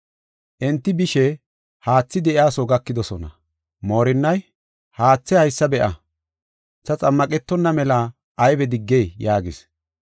Enti bishe haathi de7iyaso gakidosona. Moorinnay, “Haathe haysa be7a; ta xammaqetonna mela aybe diggey?” yaagis.